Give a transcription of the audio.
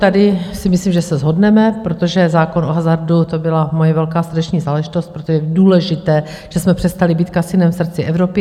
Tady si myslím, že se shodneme, protože zákon o hazardu, to byla moje velká srdeční záležitost, proto je důležité, že jsme přestali být kasinem v srdci Evropy.